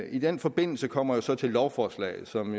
i den forbindelse kommer jeg så til lovforslaget som